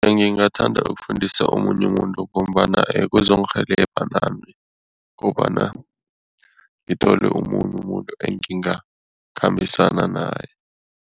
Ngingathanda ukufundisa omunye umuntu ngombana kuzongirhelebha nami kobana ngithole omunye umuntu engingakhambisana naye.